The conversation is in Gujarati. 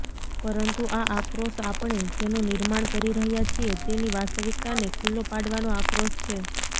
પરંતુ આ આક્રોશ આપણે જેનું નિર્માણ કરી રહ્યા છીએ તેની વાસ્તવિકતાને ખુલ્લો પાડવાનો આક્રોશ છે